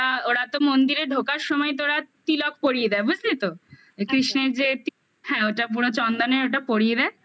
ওরা ওরা তো মন্দিরে ঢোকার সময় ওরা তিলক পরিয়ে দেয় বুঝলি তো কৃষ্ণের যে হ্যাঁ ওটা পুরো চন্দনের ওটা পরিয়ে দেয়